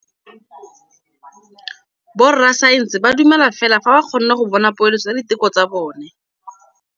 Borra saense ba dumela fela fa ba kgonne go bona poeletsô ya diteko tsa bone.